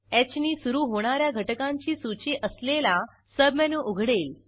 ह नी सुरू होणा या घटकांची सूची असलेला सबमेनू उघडेल